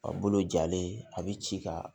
A bolo jalen a bɛ ci ka